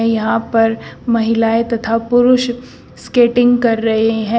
यहां पर महिलाएं तथा पुरुष स्केटिंग कर रहे हैं।